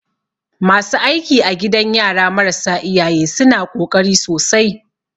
Masu aiki a gidan yara marasa iyaye suna ƙoƙari sosai.